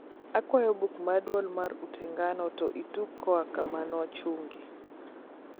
akwayo buk mar duol mar utengano to ituge koa kama nochungee